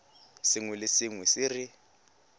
sengwe le sengwe se re